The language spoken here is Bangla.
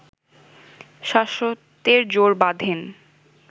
শাশ্বতের জোড় বাঁধেন